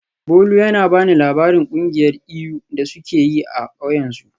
Bolu yana ba ni labarin kungiyar iyu da suke yi a kauyensu.